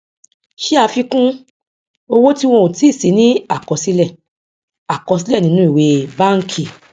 ṣe àfikún owó tí wọn ò tí sí ní àkọsílẹ àkọsílẹ nínú ìwé bánkì